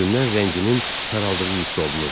Üzündən rənginin saraldığı hiss olunurdu.